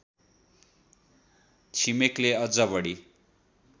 छिमेकले अझ बढी